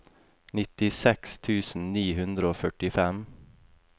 nittiseks tusen ni hundre og førtifem